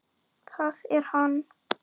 Það er hann.